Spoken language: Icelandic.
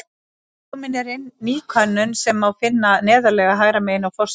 Komin er inn ný könnun sem má finna neðarlega hægra megin á forsíðu.